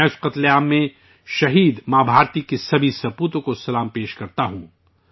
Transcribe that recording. میں اس قتل عام میں، شہید ماں بھارتی کو، سبھی اولادوں کو خراج عقیدت پیش کرتا ہوں